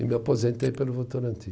E me aposentei pelo Votorantim.